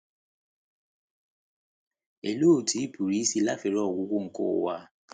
Olee Otú Ịpụrụ Isi lafere Ọgwụgwụ nke Ụwa A?